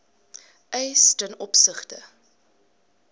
eis ten opsigte